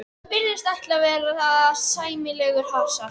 Virðist ætla að verða sæmilegur hasar.